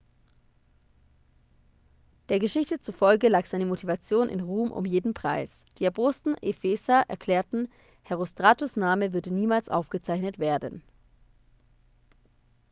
der geschichte zufolge lag seine motivation in ruhm um jeden preis die erbosten epheser erklärten herostratos' name würde niemals aufgezeichnet werden